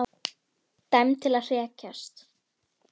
Dæmd til að hrekjast.